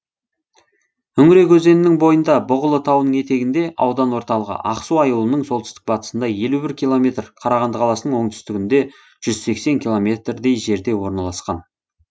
үңірек өзенінің бойында бұғылы тауының етегінде аудан орталығы ақсу аюлының солтүстік батысында елу бір километр қарағанды қаласының оңтүстігінде жүз сексен километрдей жерде орналасқан